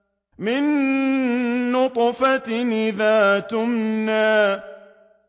مِن نُّطْفَةٍ إِذَا تُمْنَىٰ